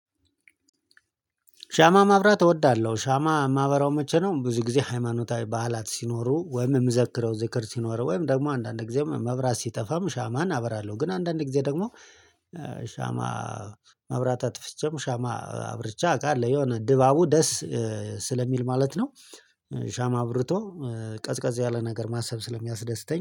ሻማ ማብራት እወዳለሁ። ሻማ ማበራው መቼ ነው ብዙ ጊዜ ሃይማኖታዊ በዓላት ሲኖሩ ወይም የምዘክረው ዝክር ሲኖር ወይም ደግሞ አንዳንድ ጊዜ መብራት ሲጠፋም ሻማን አበራለሁ ግን አንዳንድ ጊዜ ደግሞ ሻማ መብራት አጥፍቼም ሻማ አብርቼ አውቃለሁ የሆነ ድባቡ ደስ ስለሚል ማለት ነው። ሻማ አብርቶ ቀዝቀዝ ያለ ነገር ማሰብ ስለሚያስደስተኝ